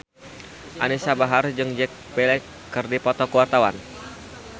Anisa Bahar jeung Jack Black keur dipoto ku wartawan